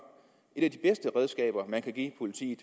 et af redskaber man kan give politiet